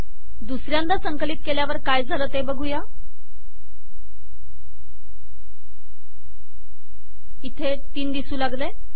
दुसऱ्यांदा संकलित केल्यावर काय झाले इथे तीन दिसू लागले